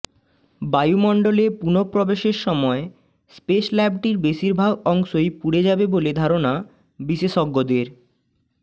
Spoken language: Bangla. বায়ুমণ্ডলে পুনঃপ্রবেশের সময় স্পেস ল্যাবটির বেশিরভাগ অংশই পুড়ে যাবে বলে ধারণা বিশেষজ্ঞদের